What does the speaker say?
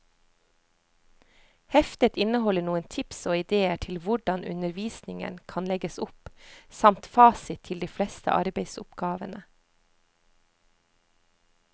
Heftet inneholder noen tips og idéer til hvordan undervisningen kan legges opp, samt fasit til de fleste arbeidsoppgavene.